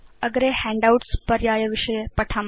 अग्रे हैण्डआउट्स् पर्याय विषये पठाम